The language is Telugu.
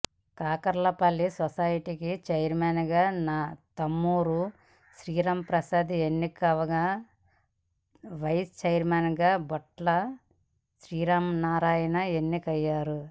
కాకర్లపల్లి సొసైటీకి చైర్మెన్గా తుమ్మూరు శ్రీరాంప్రసాద్ ఎన్నికవగా వైస్ చైర్మెన్గా బొట్ల శ్రీమన్నారాయణ ఎన్నికయ్యారు